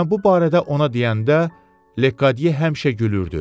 Mən bu barədə ona deyəndə Lediye həmişə gülürdü.